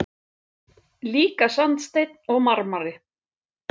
Líka sandsteinn og marmari.